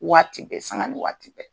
Waati bɛɛ saŋa ni waati bɛɛ.